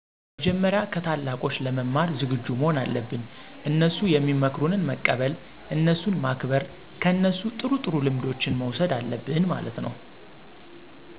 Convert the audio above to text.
መጀመሪያ ከታላቆች ለመማር ዝግጁ መሆን አለብን፤ እነሡ ሚመክሩትን መቀበል፣ እነሡን ማክበር፣ ከነሡ ጥሩ ጥሩ ልምዶችን መውሠድ አለብን ማለት ነው።